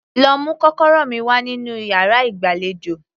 Lọ mú kọ́kọ́rọ́ mi wá nínú yàrá ìgbàlejò